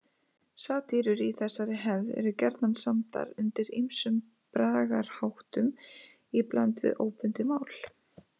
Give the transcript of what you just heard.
Satírur í þessari hefð eru gjarnan samdar undir ýmsum bragarháttum í bland við óbundið mál.